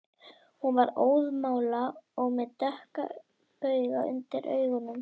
Hún var óðamála og með dökka bauga undir augunum